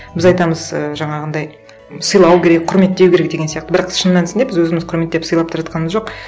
біз айтамыз і жаңағындай сыйлау керек құрметтеу керек деген сияқты бірақ шын мәнісінде біз өзіміз құрметтеп сыйлап та жатқанамыз жоқ